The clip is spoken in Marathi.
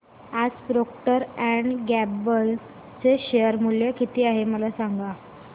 आज प्रॉक्टर अँड गॅम्बल चे शेअर मूल्य किती आहे मला सांगा